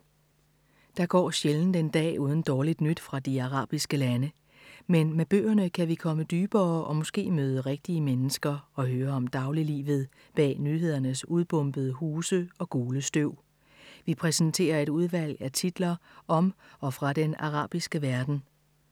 Der går sjældent en dag uden dårligt nyt fra de arabiske lande. Men med bøgerne kan vi komme dybere og måske møde rigtige mennesker og høre om dagliglivet bag nyhedernes udbombede huse og gule støv. Vi præsenterer et udvalg af titler om og fra den arabiske verden.